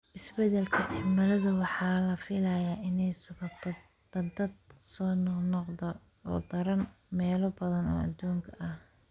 Isbeddelka cimiladu waxa la filayaa inay sababto daadad soo noqnoqda oo daran meelo badan oo adduunka ah.